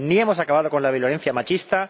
ni hemos acabado con la violencia machista